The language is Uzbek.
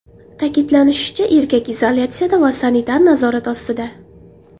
Ta’kidlanishicha, erkak izolyatsiyada va sanitar nazorat ostida.